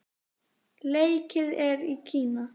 Leikið er í Kína.